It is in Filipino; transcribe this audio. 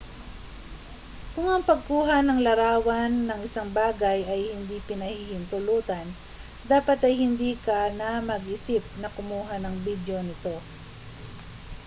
kung ang pagkuha ng larawan ng isang bagay ay hindi pinahihintulutan dapat ay hindi ka na mag-isip na kumuha ng bidyo nito